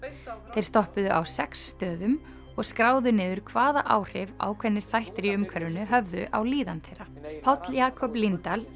þeir stoppuðu á sex stöðum og skráðu niður hvaða áhrif ákveðnir þættir í umhverfinu höfðu á líðan þeirra Páll Jakob Líndal